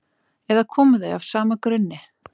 eða koma þau af sama grunni